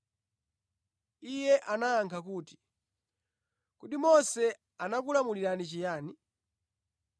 Iye anayankha kuti, “Kodi Mose anakulamulani chiyani?”